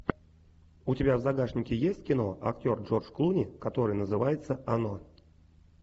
у тебя в загашнике есть кино актер джордж клуни которое называется оно